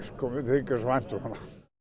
þykir svo vænt um hana